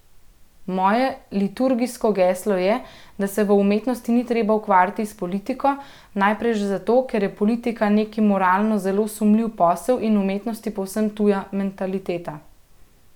Moje liturgijsko geslo je, da se v umetnosti ni treba ukvarjati s politiko, najprej že zato, ker je politika neki moralno zelo sumljiv posel in umetnosti povsem tuja mentaliteta.